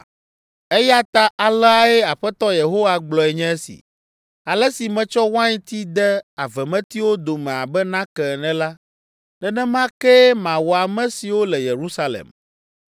“Eya ta aleae Aƒetɔ Yehowa gblɔe nye esi: ‘Ale si metsɔ wainti de avemetiwo dome abe nake ene la, nenema kee mawɔ ame siwo le Yerusalem.